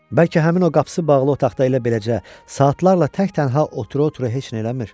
Bəlkə həmin o qapısı bağlı otaqda elə beləcə saatlarla tək-tənha otura-otura heç nə eləmir?